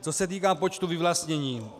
Co se týká počtu vyvlastnění.